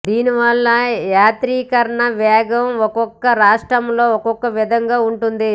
దీనివల్ల యాంత్రీకరణ వేగం ఒక్కో రాష్ట్రంలో ఒక్కో విధంగా ఉంటోంది